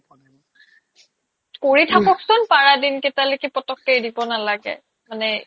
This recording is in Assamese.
কৰি থাকক চোন পাৰা দিনকেটালৈকে পতককে এৰিব নালাগে মানে